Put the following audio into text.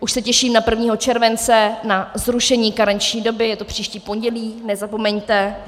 Už se těším na 1. července na zrušení karenční doby, je to příští pondělí, nezapomeňte.